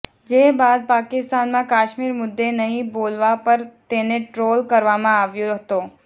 જે બાદ પાકિસ્તાનમાં કાશ્મીર મુદ્દે નહીં બોલવા પર તેને ટ્રોલ કરવામાં આવ્યો હતો